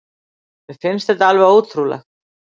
Mér finnst þetta alveg ótrúlegt